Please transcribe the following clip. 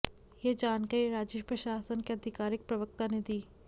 यह जानकारी राज्य प्रशासन के आधिकारिक प्रवक्ता ने दी